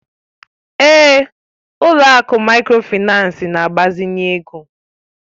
Ee, ụlọ akụ Mikrofaịnsi na-gbazinye ego